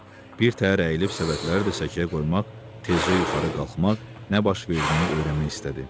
Bir təhər əyilib səbətləri də səkiyə qoymaq, tezcə yuxarı qalxmaq, nə baş verdiyini öyrənmək istədi.